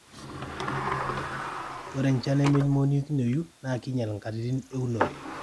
ore enchan nemeimonekioyu naa kinyial nkatiti eunore